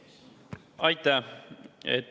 Aitäh!